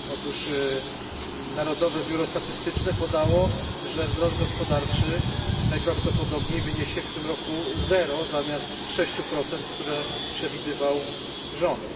Otóż Narodowe Biuro Statystyczne podało, że wzrost gospodarczy najprawdopodobniej wyniesie w tym roku 0 zamiast 6, które przewidywał rząd.